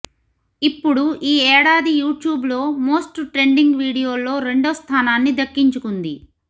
ఇప్పుడు ఈ ఏడాది యూ ట్యూబ్ లో మోస్ట్ ట్రెండింగ్ వీడియోల్లో రెండో స్థానాన్ని దక్కించుకుంది